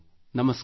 ನಮಸ್ಕಾರ